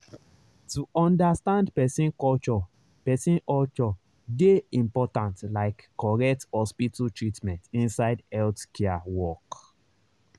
to understand person culture person culture dey important like correct hospital treatment inside healthcare work.